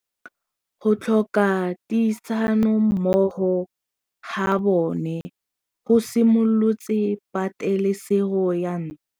Go tlhoka tirsanommogo ga bone go simolotse patêlêsêgô ya ntwa.